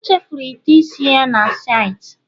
O chefuru ite isi ya na saịtị